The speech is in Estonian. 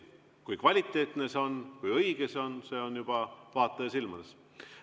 Kui kvaliteetne see on, kui õige see on, see on juba vaataja silmades.